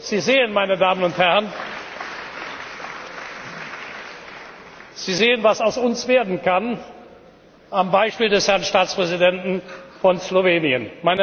Sie sehen, meine Damen und Herren, was aus uns werden kann, am Beispiel des Herrn Staatspräsidenten von Slowenien.